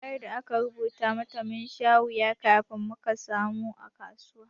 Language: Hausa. Kwayar da aka rubuta mata, mun sha wuya kafin muka samu a kasuwa.